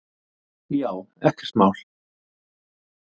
Já, ekkert mál!